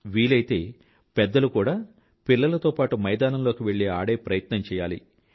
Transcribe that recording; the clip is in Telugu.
వీలైతే పెద్దలు కూడా పిల్లలతో పాటూ మైదానంలోకి వెళ్ళి ఆడే ప్రయత్నం చెయ్యాలి